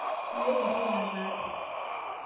meeta entoki nataase